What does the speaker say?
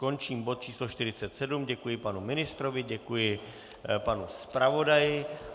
Končím bod číslo 47, děkuji panu ministrovi, děkuji panu zpravodaji.